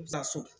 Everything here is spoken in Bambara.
Taa so